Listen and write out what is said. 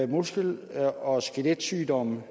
muskel og skeletsygdomme